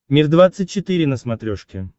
мир двадцать четыре на смотрешке